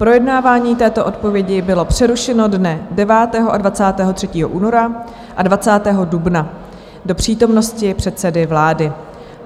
Projednávání této odpovědi bylo přerušeno dne 9. a 23. února a 20. dubna do přítomnosti předsedy vlády.